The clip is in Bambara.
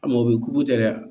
A mɔbiliw tɛ dɛ